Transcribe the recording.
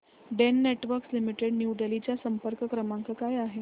Den networks limited New Delhi चा संपर्क क्रमांक काय आहे